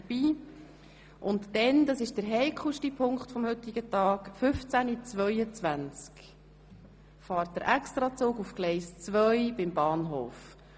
Anschliessend – und das ist der heikelste Punkt des heutigen Tages – fährt um 15.22 Uhr der Extrazug auf Gleis 2 am Bahnhof.